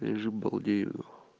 лежу балдею